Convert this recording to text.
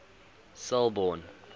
selborne